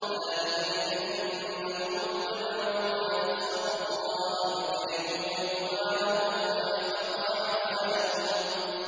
ذَٰلِكَ بِأَنَّهُمُ اتَّبَعُوا مَا أَسْخَطَ اللَّهَ وَكَرِهُوا رِضْوَانَهُ فَأَحْبَطَ أَعْمَالَهُمْ